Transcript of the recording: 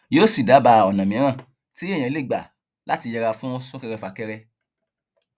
yóò sì dábàá ọnà mìíràn tí èèyàn lè gbà láti yẹra fún súnkẹrẹfàkẹrẹ